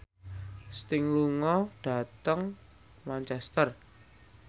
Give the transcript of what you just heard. Sting lunga dhateng Manchester